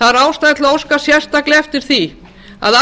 það er ástæða til að óska sérstaklega eftir því að